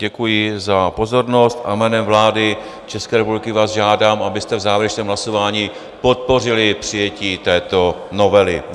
Děkuji za pozornost a jménem vlády České republiky vás žádám, abyste v závěrečném hlasování podpořili přijetí této novely.